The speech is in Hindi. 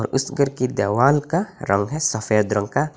और उस घर की देवाल का रंग है सफेद रंग का।